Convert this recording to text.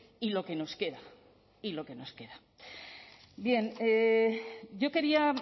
y lo que nos queda y lo que nos queda bien yo quería